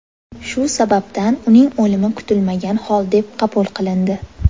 Shu sababdan uning o‘limi kutilmagan hol deb qabul qilindi.